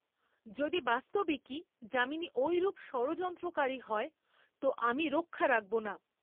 যদি বাস্তবিকই যামিনী ঐরূপ ষড়যন্ত্রকারী হয় তো আমি রক্ষা রাখব না।